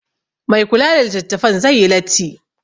Mai kula da litattafan zai yi latti yai